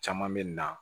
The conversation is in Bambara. Caman bɛ na